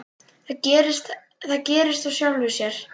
Það gerðist af sjálfu sér.